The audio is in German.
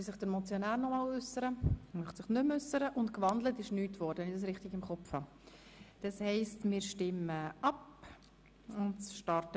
Der Motionär wünscht das Wort nicht mehr, und wenn ich es richtig im Kopf habe, ist nichts gewandelt worden.